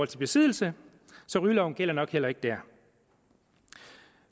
til besiddelse så rygeloven gælder nok heller ikke der